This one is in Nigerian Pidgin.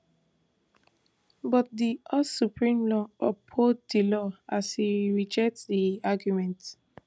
but di us supreme court uphold di law as e reject di argument